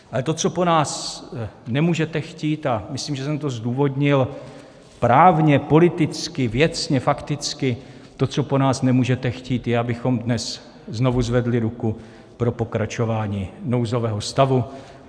Ale to, co po nás nemůžete chtít, a myslím, že jsem to zdůvodnil právně, politicky, věcně, fakticky, to, co po nás nemůžete chtít, je, abychom dnes znovu zvedli ruku pro pokračování nouzového stavu.